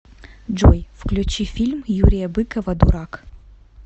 джой включи фильм юрия быкова дурак